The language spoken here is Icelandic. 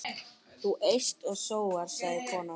Þú eyst og sóar, sagði konan.